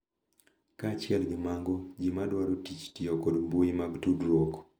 Kaachiel gi mago, ji ma dwaro tich tiyo kod mbui mag tudruok .